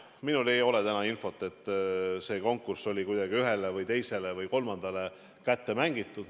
Minul ei ole täna infot, et see konkurss oleks kuidagi ühele, teisele või kolmandale kätte mängitud.